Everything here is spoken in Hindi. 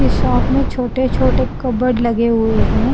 इस शॉप में छोटे छोटे कबर्ड लगे हुए हैं।